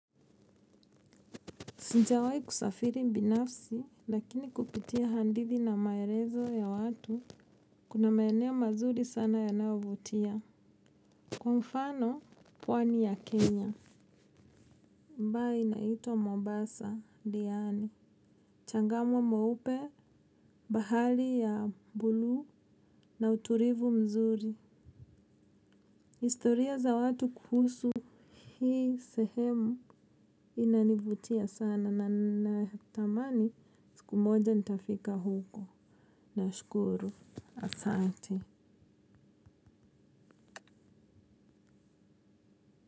Sijawai kusafiri binafsi, lakini kupitia hadithi na maelezo ya watu, kuna maeneo mazuri sana yanayovutia. Kwa mfano, pwani ya Kenya, ambayo inaitwa Mombasa, Diani, Changamwe mweupe, bahari ya buluu na utulivu mzuri. Historia za watu kuhusu hii sehemu inanivutia sana na tamani siku moja nitafika huko. Nashukuru, asante.